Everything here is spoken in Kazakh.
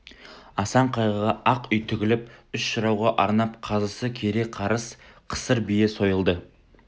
асан қайғыға ақ үй тігіліп үш жырауға арнап қазысы кере қарыс қысыр бие сойылды